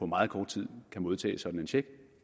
meget kort tid kan modtage sådan en check